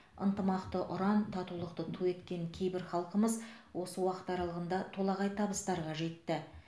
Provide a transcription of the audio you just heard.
ынтымақты ұран татулықты ту еткен кейбір халқымыз осы уақыт аралығында толағай табыстарға жетті